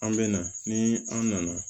An bɛ na ni an nana